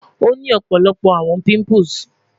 o ni ọpọlọpọ awọn pimples